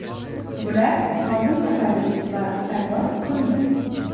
Bular Nozim Safari va Sardor Komilov.